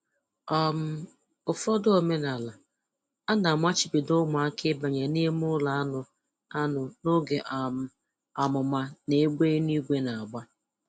um Ụfọdụ omenaala, a na-amachibido ụmụaka ịbanye n'ime ụlọ anụ anụ n'oge um àmụ̀mà na égbè eluigwe na-agba